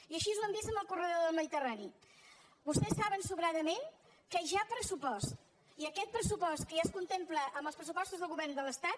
i així ho hem vist amb el corredor del mediterrani vostès saben sobradament que hi ha pressupost i aquest pressupost que ja es contempla en els pressupostos del govern de l’estat